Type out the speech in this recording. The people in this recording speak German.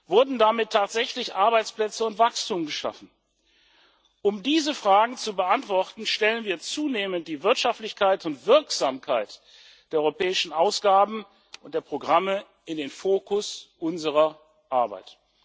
Wurden damit tatsächlich Arbeitsplätze und Wachstum geschaffen? Um diese Fragen zu beantworten, stellen wir zunehmend die Wirtschaftlichkeit und Wirksamkeit der europäischen Ausgaben und der Programme in den Fokus unserer Arbeit.